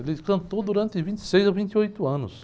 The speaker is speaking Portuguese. Ele cantou durante vinte e seis a vinte e oito anos.